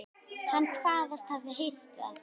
Hann kvaðst hafa heyrt að